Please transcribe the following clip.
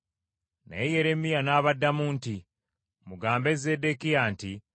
Naye Yeremiya n’abaddamu nti, “Mugambe Zeddekiya nti,